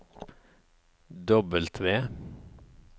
W